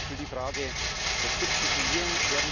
Zum Beispiel die Frage des Substituierens.